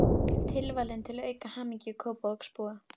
Tilvalinn til að auka hamingju Kópavogsbúa.